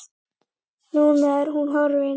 Núna er hún horfin.